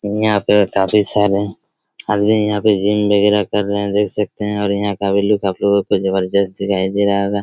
यहाँ पे काफी सारे आदमी यहाँ पे जिम वगेरा कर रहे हैं देख सकते हैं यहाँ का लुक भी काफी बहुत ही जबरदस्त दिखाई दे रहा होगा।